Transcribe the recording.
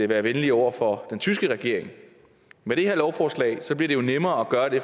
være venlig over for den tyske regering med det her lovforslag bliver det jo nemmere